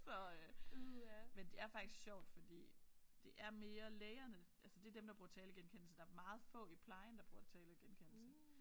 Så øh men det er faktisk sjovt fordi det er mere lægerne altså det er dem der bruger talegenkendelse der er meget få i plejen der bruger talegenkendelse